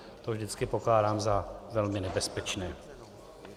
To vždycky pokládám za velmi nebezpečné.